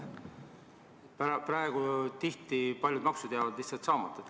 Praegu jäävad tihti paljud maksud lihtsalt saamata.